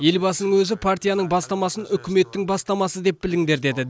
елбасының өзі партияның бастамасын үкіметтің бастамасы деп біліңдер деді